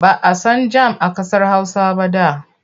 Ba a san jam a ƙasar Hausa ba da.